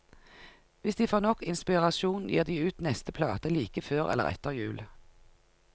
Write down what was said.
Hvis de får nok inspirasjon, gir de ut neste plate like før eller etter jul.